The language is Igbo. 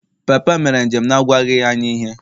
Papa m mere njem n’agwaghị anyị ihe